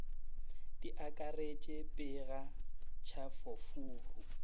di akaretše pega tšhafo furu